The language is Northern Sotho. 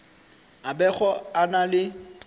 a bego a na le